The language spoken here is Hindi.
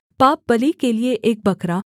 पापबलि के लिये एक बकरा